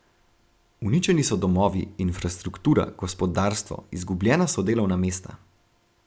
Uničeni so domovi, infrastruktura, gospodarstvo, izgubljena so delovna mesta.